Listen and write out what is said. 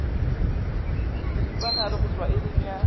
seripagare go tšwa iring ya